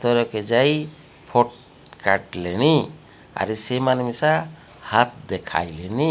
ତେରକେ ଯାଇ ଫଟ ଫ୍ୟାଟଲେଣି। ଆର୍ ସେମାନେ ମିଶା ହାତ ଦେଖାଇଲେନି।